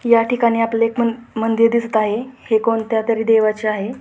या ठिकाणी आपल्याला एक मंदिर दिसत आहे हे कोणत्या तरी देवाचे आहे.